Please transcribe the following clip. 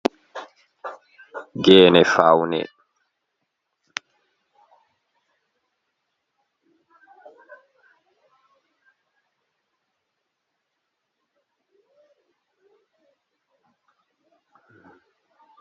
Geene faawne, Geene asbinaama haa semta mahol, ɗon howiri bee mahol dammungol, Geene man ɗon mari pinndi boɗeejum, haako ɓokko-ɓokko. Ɓe ɗo fawnira ci'e bee Geene fawne ngam vooɗa vo'ina saare, koo Janngirde koo balbe kuuɗe waato Office.